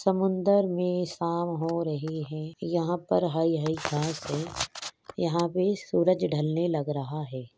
समुन्दर में शाम हो रही है। यहाँ पर हरी हरी घास है। यहाँ पे सूरज ढलने लग रहा है।